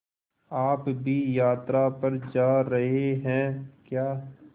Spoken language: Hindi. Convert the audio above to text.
आप भी यात्रा पर जा रहे हैं क्या